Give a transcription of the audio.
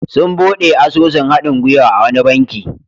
Sun buɗe asusun haɗin-gwiwa a wani banki.